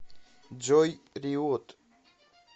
джой риот